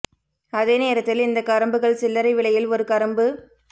அதே நேரத்தில் இந்த கரும்புகள் சில்லறை விலையில் ஒரு கரும்பு ரூ